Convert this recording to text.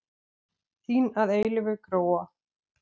Þín að eilífu, Gróa.